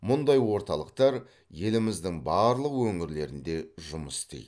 мұндай орталықтар еліміздің барлық өңірлерінде жұмыс істейді